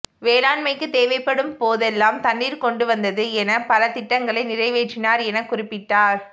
வேளாண்மைக்கு தேவைப்படும் போதெல்லாம் தண்ணீர் கொண்டுவந்தது என பல திட்டங்களை நிறைவேற்றினார் என குறிப்பிட்டார்